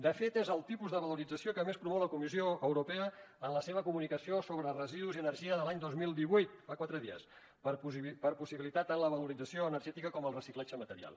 de fet és el tipus de valorització que a més promou la comissió europea en la seva comunicació sobre residus i energia de l’any dos mil divuit fa quatre dies per possibilitar tant la valorització energètica com el reciclatge material